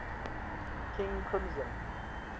king crimson